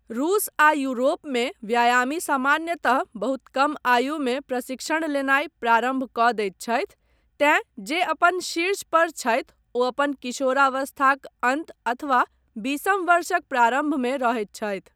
रूस आ यूरोपमे व्यायामी सामान्यतः बहुत कम आयुमे प्रशिक्षण लेनाय प्रारम्भ कऽ दैत छथि तैँ जे अपन शीर्ष पर छथि ओ अपन किशोरावस्थाक अन्त अथवा बीसम वर्षक प्रारम्भमे रहैत छथि।